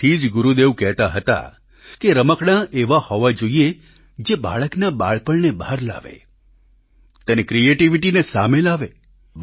તેથી જ ગુરુદેવ કહેતા હતા કે રમકડાં એવા હોવા જોઈએ જે બાળકના બાળપણને બહાર લાવે તેની ક્રિએટીવીટીને સામે લાવે